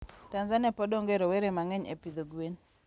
Tanzania pod onge rowere mangeny e pidho gwen